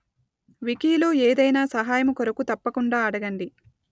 వికీలో ఏదైనా సహాయము కొరకు తప్పకుండా అడగండి